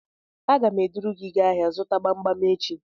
Aga m eduru gị gaa ahịa zụta gbam gbam echi